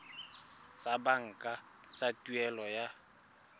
tsa banka tsa tuelo ya